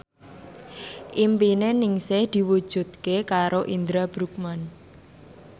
impine Ningsih diwujudke karo Indra Bruggman